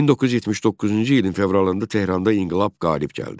1979-cu ilin fevralında Tehranda inqilab qalib gəldi.